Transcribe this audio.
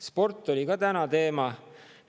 Sport oli ka täna teema.